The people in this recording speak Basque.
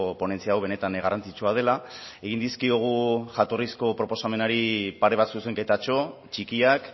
ponentzia hau benetan garrantzitsua dela egin dizkiogu jatorrizko proposamenari pare bat zuzenketatxo txikiak